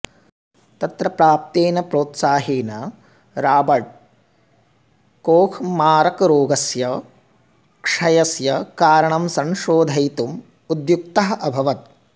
तत्र प्राप्तेन प्रोत्साहेन राबर्ट् कोख् मारकरोगस्य क्षयस्य कारणं संशोधयितुम् उद्युक्तः अभवत्